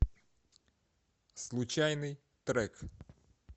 случайный трек